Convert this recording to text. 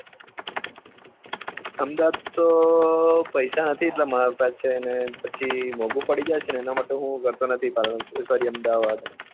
અમદાવાદ તો પેસા નથી એટલા મારે પાસે તો અને પછી મોન્ગું પડી જશે એના માટે હું કરતો નથી પાલન સોરી અમદાવાદ